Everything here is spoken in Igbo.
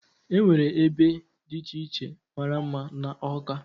Enwere ebe dị iche iche mara mma n'Awka.